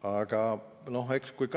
Aga kui